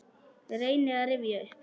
Reyni að rifja upp.